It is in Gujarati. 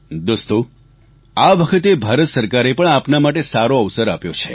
દોસ્તો આ વખતે ભારત સરકારે પણ આપના માટે સારો અવસર આપ્યો છે